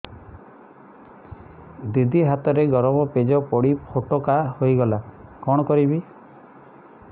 ଦିଦି ହାତରେ ଗରମ ପେଜ ପଡି ଫୋଟକା ହୋଇଗଲା କଣ କରିବି